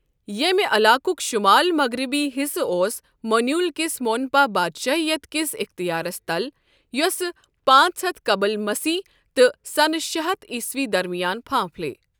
ییٛمہِ عَلاقُق شُمال مَغرِبی حِصہٕ اوس مونیول کِس مونپا بادشٲہِیت كِس اِختِیارَس تل، یوسہٕ پانٛژ ہتھ قبل مسیح تہِ سَنہٕ شےٚ ہتھ عیٖسوی درمِیان پھانٛپھلیہ ۔